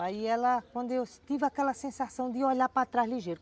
Aí ela, quando eu tive aquela sensação de olhar para trás ligeiro.